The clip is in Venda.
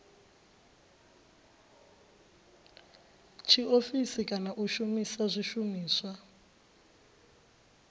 tshiofisi kana u shumisa zwishumiswa